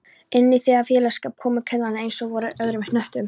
Inní þennan félagsskap komu kanarnir einsog verur frá öðrum hnöttum